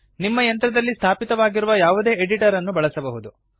ನಿಮ್ಮ ಯಂತ್ರದಲ್ಲಿ ಸ್ಥಾಪಿತವಗಿರುವ ಯಾವುದೇ ಎಡಿಟರ್ ಅನ್ನು ಬಳಸಬಹುದು